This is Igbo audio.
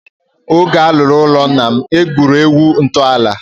Oge a rụrụ ụlọ nna m, e gburu ewu ntọala.